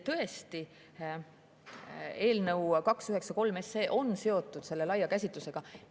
Tõesti, eelnõu 293 on selle laia käsitlusega seotud.